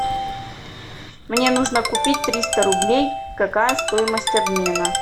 мне нужно купить триста рублей какая стоимость обмена